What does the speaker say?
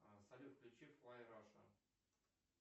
салют включи флай раша